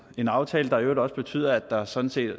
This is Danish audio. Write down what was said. en aftale der i øvrigt også betyder at der sådan set